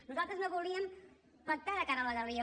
nosaltres no volíem pactar de cara a la galeria